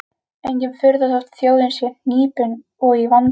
Engin furða þótt þjóðin sé hnípin og í vanda.